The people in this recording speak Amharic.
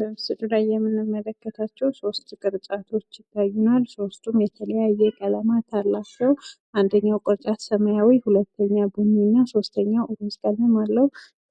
በምስሉ ላይ የምንመለከተው ሶስት ቅርጫቶች ይታዩናል። ሶስቱም የተለያየ ቀለማት አላቸው። አንደኛው ቅርጫት ሰማያዊ ሁለተኛው ቡኒ ሶስተኛው ሩዝ ቀለም አለው።